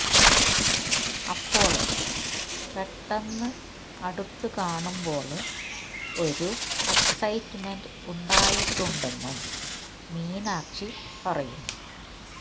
അപ്പോള് പെട്ടെന്ന് അടുത്തു കാണുമ്പോള് ഒരു എക്സൈറ്റ്മെന്റ് ഉണ്ടായിട്ടുണ്ടെന്നും മീനാക്ഷി പറയുന്നു